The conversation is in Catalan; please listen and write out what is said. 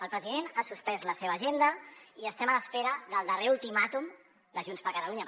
el president ha suspès la seva agenda i estem a l’espera del darrer ultimàtum de junts per catalunya